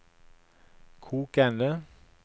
kokende